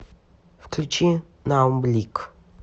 включи наум блик